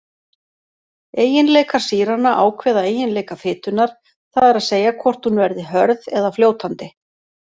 Eiginleikar sýranna ákveða eiginleika fitunnar, það er að segja hvort hún verði hörð eða fljótandi.